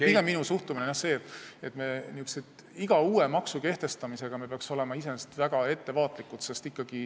Pigem on minu suhtumine see, et me iga uue maksu kehtestamisel peaksime olema väga ettevaatlikud.